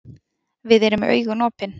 Við erum með augun opin.